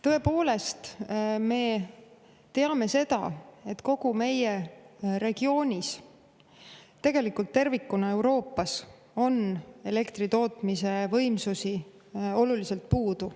Tõepoolest, me teame seda, et kogu meie regioonis, tegelikult Euroopas tervikuna on elektritootmise võimsusi oluliselt puudu.